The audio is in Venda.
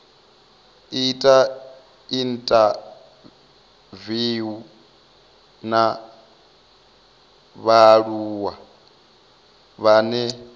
ita inthaviwu na vhaaluwa vhane